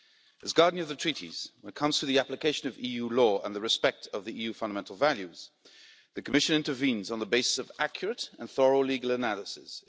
As Guardian of the Treaties, when it comes to the application of EU law and respect for the EU's fundamental values, the Commission intervenes on the basis of accurate and thorough legal analysis.